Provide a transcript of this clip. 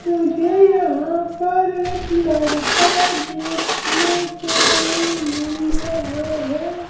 मुझे यहाँ पर लड़का देखने को मिल रहा है।